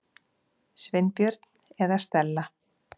Sveinbjörn eða Stella.